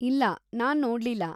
ಇಲ್ಲ, ನಾನ್‌ ನೋಡ್ಲಿಲ್ಲ.